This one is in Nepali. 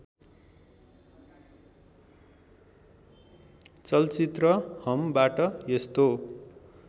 चलचित्र हमबाट यस्तो